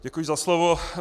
Děkuji za slovo.